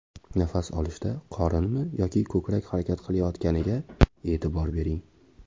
Nafas olishda qorinmi yoki ko‘krak harakat qilayotganiga e’tibor bering.